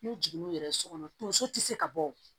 N'u jiginn'u yɛrɛ ye so kɔnɔ tonso tɛ se ka bɔ